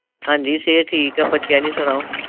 ਹਾਂ ਜੀ ਸਿਹਤ ਠੀਕ ਹੈ। ਬੱਚਿਆਂ ਦੀ ਸੁਣਾਓ